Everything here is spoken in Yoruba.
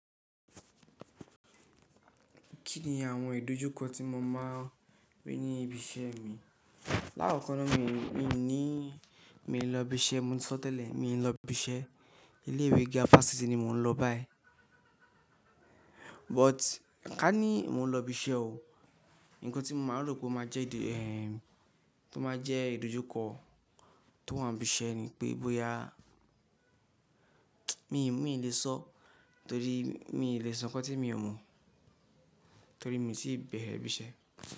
Kí ni àwọn ìdojúkọ tí mo máa rí ní ibi iṣẹ́ mi? Láàkọ́kọ́na mi ò ní, mi ò ní lọ ibi iṣẹ́, mo ti sọ tẹ́lẹ̀, mi ò ní lọ ibi iṣẹ́. Ilé ìwé gíà fásitì ni mò ń lọ báyìí. But ká ní mò ń lọ ibi iṣẹ́ o, nǹkan tí mo máa rò pé ó máa jẹ́ ìdo, eh, tó máa jẹ́ ìdojúkọ tó wà ní ibi iṣẹ́ ni pé bóyá, mi ò lè sọ torí mi ò lè sọ nǹkan tí mi ò mọ̀ torí mi tí ì bẹ̀rẹ̀ ibi iṣẹ́.